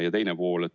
Ja teine pool.